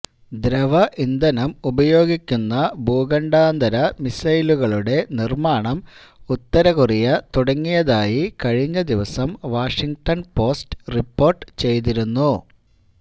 ദ്രവ ഇന്ധനം ഉപയോഗിക്കുന്ന ഭൂഖണ്ഡാന്തര മിസൈലുകളുടെ നിർമാണം ഉത്തര കൊറിയ തുടങ്ങിയതായി കഴിഞ്ഞദിവസം വാഷിങ്ടൻ പോസ്റ്റ് റിപ്പോർട്ട് ചെയ്തിരുന്നു